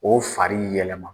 O fari yɛlɛma.